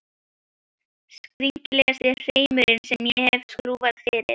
Skringilegasti hreimurinn sem ég hef skrúfað fyrir.